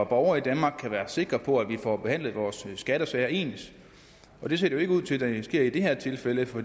borgere i danmark kan være sikre på at vi får behandlet vores skattesager ens det ser jo ikke ud til at det er sket i det her tilfælde for